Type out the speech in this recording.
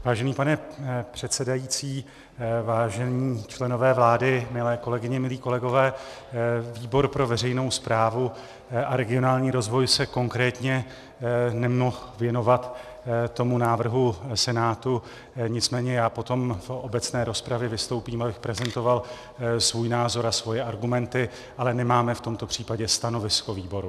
Vážený pane předsedající, vážení členové vlády, milé kolegyně, milí kolegové, výbor pro veřejnou správu a regionální rozvoj se konkrétně nemohl věnovat tomu návrhu Senátu, nicméně já potom v obecné rozpravě vystoupím, abych prezentoval svůj názor a svoje argumenty, ale nemáme v tomto případě stanovisko výboru.